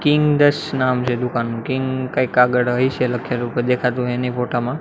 Kings નામ છે દુકાનનું કિંગ કંઈક આગળ હશે લખેલું પણ દેખાતું હે ની ફોટા માં.